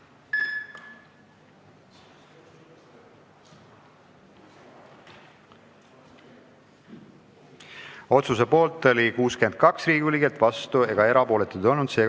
Hääletustulemused Otsuse poolt oli 62 Riigikogu liiget, vastuolijaid ega erapooletuid ei olnud.